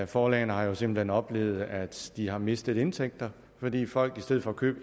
forlagene har jo simpelt hen oplevet at de har mistet indtægter fordi folk i stedet for at købe